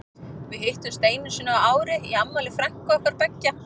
Við hittumst einu sinni á ári í afmæli frænku okkar beggja.